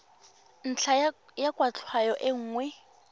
ntlha ya kwatlhao e nngwe